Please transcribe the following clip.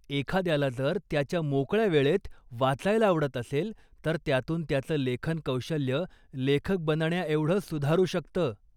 एखाद्याला जर त्याच्या मोकळ्या वेळेत वाचायला आवडत असेल, तर त्यातून त्याचं लेखनकौशल्य लेखक बनण्याएवढं सुधारू शकतं.